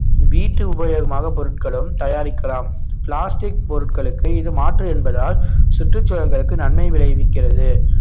வீட்டு உபயோகமாக பொருட்களும் தயாரிக்கலாம் plastic பொருட்களுக்கு இது மாற்று என்பதால் சுற்றுச்சூழல்களுக்கு நன்மை விளைவிக்கிறது